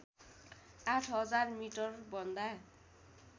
आठ हजार मिटरभन्दा